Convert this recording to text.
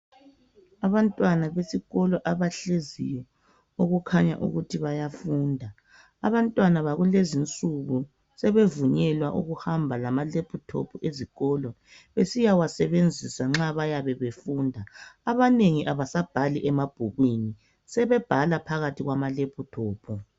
Abantwana besikolo abahleziyo okukhanya ukuthi bayafunda. Abantwana bakulezi nsuku, sebevunyelwa ukuhamba lama lephuthophu esikolo besiwasebenzisa nxa befunda. Abanengi abasabhali emabhukwini sebebhala phakathi kwamalephuthophu.